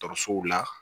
Dɔkɔtɔrɔsow la